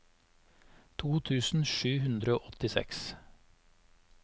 to tusen sju hundre og åttiseks